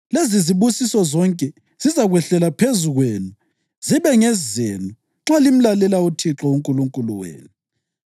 Lezizibusiso zonke zizakwehlela phezu kwenu zibe ngezenu nxa limlalela uThixo uNkulunkulu wenu.